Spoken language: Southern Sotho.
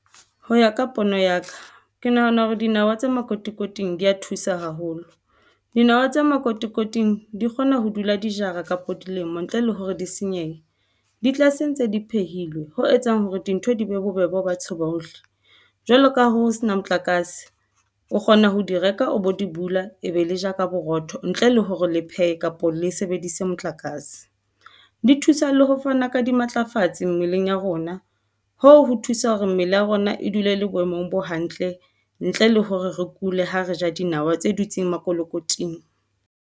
Ho ya ka pono ya ka, ke nahana hore dinawa tse makotikoting di ya thusa haholo dinawa tse makotikoting di kgona ho dula di jara kapo dilemo ntle le hore di senyehe di tlase ntse di phehilwe. Ho etsang hore dintho di be bobebe Ba tseba hohle? Jwaloka ha ho sena, motlakase o kgona ho di reka, o bo di bula, e be le ja ka borotho ntle le hore le phehe kapa le sebedise motlakase. Di thusa le ho fana ka dimatlafatsi mmeleng ya rona ho ho thusa hore mmele ya rona e dule le boemong bo hantle. Ntle le hore re kule ha re ja dinawa tse dutseng makolokoting.